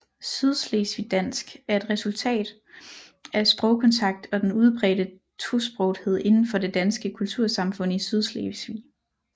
Sydslesvigdansk er resultatet af sprogkontakt og den udbredte tosprogethed inden for det danske kultursamfund i Sydslesvig